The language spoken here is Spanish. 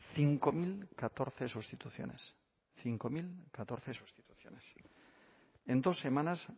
cinco mil catorce sustituciones cinco mil catorce sustituciones en dos semanas